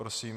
Prosím.